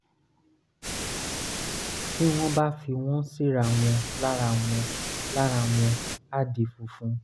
tí wọ́n bá fi wọ́n síra wọn lára wọn lára wọ́n á di funfun